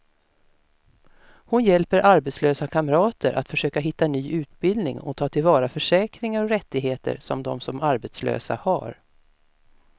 Hon hjälper arbetslösa kamrater att försöka hitta ny utbildning och ta till vara försäkringar och rättigheter som de som arbetslösa har.